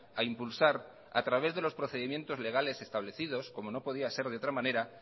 a impulsar a través de los procedimientos legales establecidos como no podía ser de otra manera